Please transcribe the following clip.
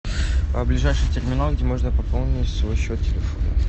ближайший терминал где можно пополнить свой счет телефона